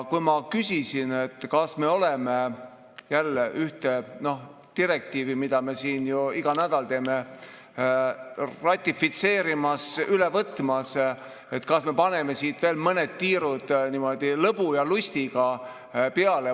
Ma küsisin, kas me oleme jälle ühte direktiivi ratifitseerimas, üle võtmas, mida me siin ju iga nädal teeme, et kas me paneme veel mõned tiirud niimoodi lõbu ja lustiga peale.